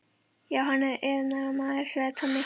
Já, hann er iðnaðarmaður, sagði Tommi.